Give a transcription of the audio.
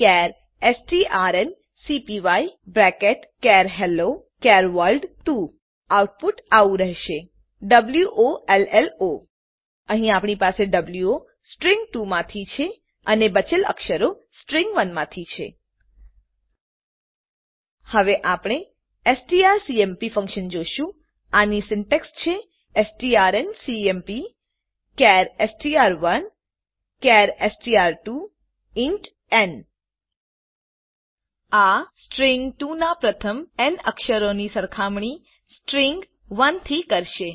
ચાર strncpyચાર હેલ્લો ચાર world 2 output આવું રહેશે વોલો અહીં આપણી પાસે વો સ્ટ્રીંગ 2 માંથી છે અને બચેલ અક્ષરો સ્ટ્રીંગ 1 માંથી છે હવે આપણે એસટીઆરસીએમપી ફંકશન જોશું આની સીન્ટેક્ષ છે એસટીઆરએનસીએમપી ચાર એસટીઆર1 ચાર એસટીઆર2 ઇન્ટ ન આ સ્ટ્રીંગ 2 નાં પ્રથમ ન અક્ષરોની સરખામણી સ્ટ્રીંગ 1 થી કરશે